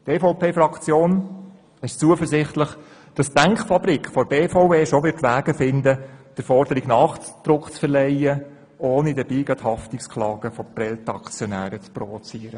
Die EVP-Fraktion ist zuversichtlich, dass die Denkfabrik der BVE schon Wege finden wird, um der Forderung Nachdruck zu verleihen, ohne dabei Haftungsklagen geprellter Aktionäre zu provozieren.